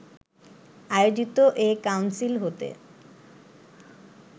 আয়োজিত এ কাউন্সিল হতে